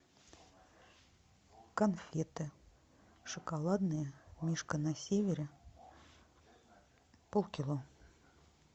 конфеты шоколадные мишка на севере полкило